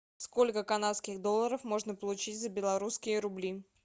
сколько канадских долларов можно получить за белорусские рубли